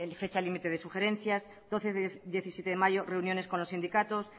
fecha límite de sugerencias doce diecisiete de mayo reuniones con los sindicatos